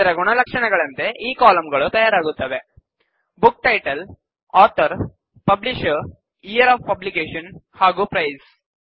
ಅದರ ಗುಣಲಕ್ಷಣಗಳಂತೆ ಈ ಕಾಲಂಗಳು ತಯಾರಾಗುತ್ತವೆಬುಕ್ title author publisher year of publication ಹಾಗೂ ಪ್ರೈಸ್